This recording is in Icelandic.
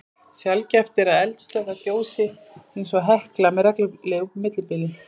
Sjaldgæft er að eldstöðvar gjósi eins og Hekla með reglulegu millibili.